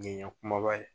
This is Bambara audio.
Nin ye n ɲe kumaba ye